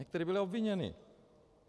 Někteří byli obviněni.